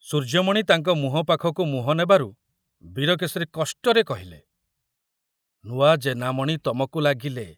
ସୂର୍ଯ୍ୟମଣି ତାଙ୍କ ମୁହଁ ପାଖକୁ ମୁହଁ ନେବାରୁ ବୀରକେଶରୀ କଷ୍ଟରେ କହିଲେ, ନୂଆ ଜେନାମଣି ତମକୁ ଲାଗିଲେ।